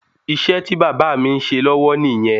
Iṣẹ́ tí bàbá mi ń ṣe lọ́wọ́ nìyẹn